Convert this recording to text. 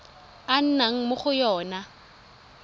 a nnang mo go yona